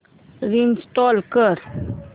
restart कर